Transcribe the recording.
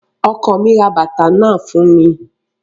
Ọkọ mi ra bàtà náà fún mi